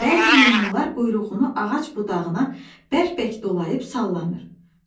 Bəzi meymunlar quyruğunu ağac budağına bərk-bərk dolayıb sallanır.